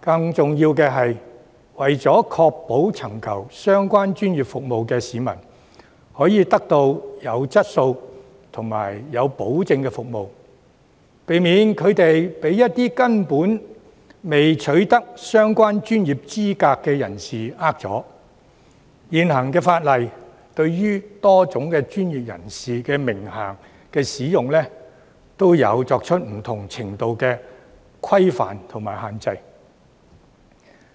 更重要的是，為了確保尋求相關專業服務的市民可以獲得有質素和有保證的服務，以免被一些根本並未取得相關專業資格的人欺騙，現行法例對於多種專業人士的名銜的使用，有作出不同程度的規範和限制。